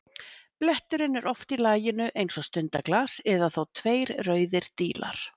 Bletturinn er oft í laginu eins og stundaglas eða þá tveir rauðir dílar.